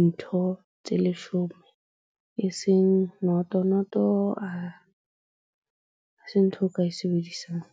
ntho tse leshome e seng noto. Noto ha se ntho eo ka e sebedisang.